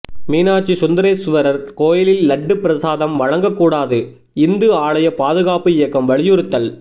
மீனாட்சி சுந்தரேசுவரா் கோயிலில் லட்டு பிரசாதம் வழங்கக் கூடாது இந்து ஆலய பாதுகாப்பு இயக்கம் வலியுறுத்தல்